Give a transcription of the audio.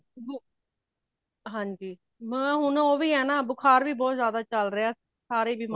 ਹਾਂਜੀ ਮੈਂ ਹੁਣ ਉਹ ਵੀ ਹੈਨਾ ਬੁਖ਼ਾਰ ਵੀ ਬਹੁਤ ਜਾਂਦਾ ਚਲ ਰਹੀਆਂ ਸਾਰੇ ਬਿਮਾਰ